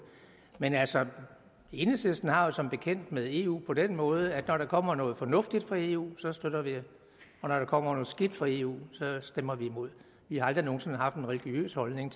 man altså enhedslisten har det jo som bekendt med eu på den måde at når der kommer noget fornuftigt fra eu støtter vi det og når der kommer noget skidt fra eu stemmer vi imod vi har aldrig nogen sinde haft en religiøs holdning